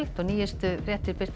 og nýjustu fréttir birtast